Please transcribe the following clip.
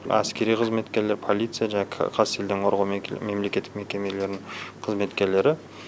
әскери қызметкерлер полиция жаңағы қазселденқорғау мемлекеттік мекемелерінің қызметкерлері